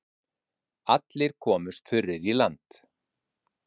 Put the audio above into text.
Allir komust þurrir í land.